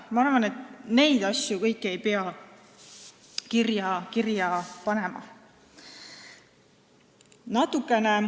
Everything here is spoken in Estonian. Ma arvan, et kõiki neid asju ei pea kirja panema.